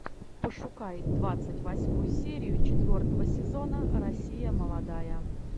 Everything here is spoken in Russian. пошукай двадцать восьмую серию четвертого сезона россия молодая